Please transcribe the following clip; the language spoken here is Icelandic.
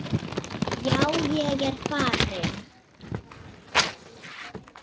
Já, ég er farinn.